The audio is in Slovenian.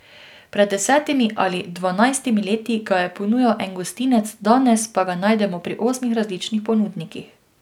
Pred desetimi ali dvanajstimi leti ga je ponujal en gostinec, danes pa ga najdemo pri osmih različnih ponudnikih.